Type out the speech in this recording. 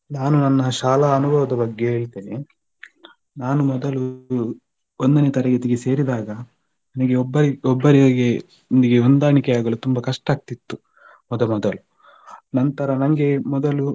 ನಾನು ನನ್ನ ಶಾಲಾ ಅನುಭವದ ಬಗ್ಗೆ ಹೇಳ್ತೇನೆ ನಾನು ಮೊದಲು ಒಂದನೇ ತರಗತಿಗೆ ಸೇರಿದಾಗ ನನ್ನ ಒಬ್ಬ ಒಬ್ಬರೊಂದಿಗೆ ಹೊಂದಾಣಿಕೆಯಾಗಲು ಕಷ್ಟ ಆಗ್ತಿತ್ತು ಮೊದಮೊದಲು ನಂತರ ನಂಗೆ ಮೊದಲು